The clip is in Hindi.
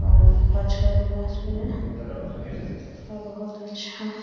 और और बहुत अच्छा --